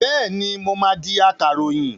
Bẹ́ẹ̀ni, mo máa di akàròyìn.